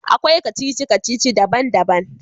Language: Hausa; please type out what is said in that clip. Akwai kacici-kacici daban-daban.